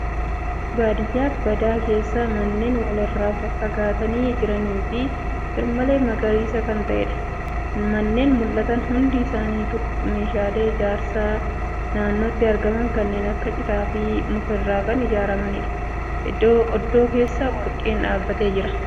Baadiyyaa badaa keessa manneen walirraa faffagaatanii jiranii fi garmalee magariisa kan ta'eedha. Manneen mul'atan hundi isaanitu meeshaalee ijaarsaa naannotti argaman kanneen akka citaafi muka irraa kan ijaaramaniidha. Oddoo keessa warqeen dhaabatee jira.